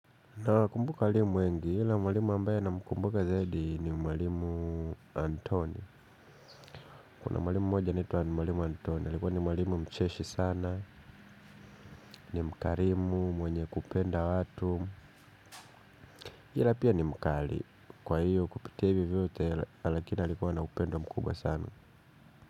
Nawakumbuka walimu wengi, hila mwalimu ambaye namkumbuka zaidi ni mwalimu Anthony. Kuna mwalimu mmoja anaitwa mwalimu Anthony, alikuwa ni mwalimu mcheshi sana, ni mkarimu, mwenye kupenda watu hila pia ni mkali, kwa hiyo kupitia ivi vyote lakini alikuwa na upendo mkubwa sana.